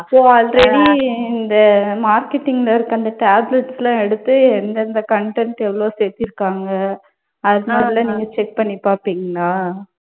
ஓ already இந்த marketing ல இருக்க அந்த tablets எல்லாம் எடுத்து எந்தெந்த content எவ்ளோ சேர்த்திருக்காங்க அது மாதிரியெல்லாம் நீங்க check பண்ணி பார்ப்பீங்களா?